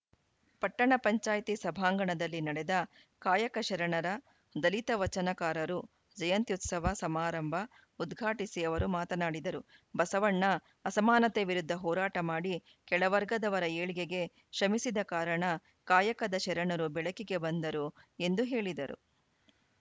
ಪಪಂ ಸಭಾಂಗಣದಲ್ಲಿ ನಡೆದ ಕಾಯಕ ಶರಣರ ದಲಿತ ವಚನಕಾರರು ಜಯಂತ್ಯುತ್ಸವ ಸಮಾರಂಭ ಉದ್ಘಾಟಿಸಿ ಅವರು ಮಾತನಾಡಿದರು ಬಸವಣ್ಣ ಅಸಮಾನತೆ ವಿರುದ್ಧ ಹೋರಾಟ ಮಾಡಿ ಕೆಳವರ್ಗದವರ ಏಳ್ಗೆಗೆ ಶ್ರಮಿಸಿದ ಕಾರಣ ಕಾಯಕದ ಶರಣರು ಬೆಳಕಿಗೆ ಬಂದರು ಎಂದು ಹೇಳಿದರು